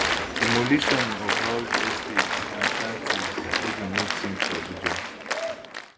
demolition of house estates and shanties no be new tin for abuja